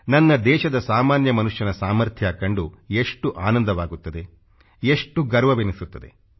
ನನ್ನ ದೇಶದ ಸಾಮಾನ್ಯ ಮನುಷ್ಯನ ಸಾಮರ್ಥ್ಯ ಕಂಡು ಎಷ್ಟು ಆನಂದವಾಗುತ್ತದೆ ಎಷ್ಟು ಹೆಮ್ಮೆ ಎನಿಸುತ್ತದೆ